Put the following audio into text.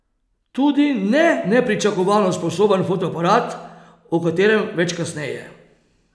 Tudi ne nepričakovano sposoben fotoaparat, o katerem več kasneje.